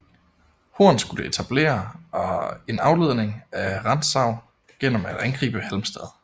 Horn skulle etablere en afledning af Rantzau gennem at angribe Halmstad